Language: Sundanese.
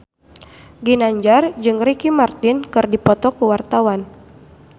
Ginanjar jeung Ricky Martin keur dipoto ku wartawan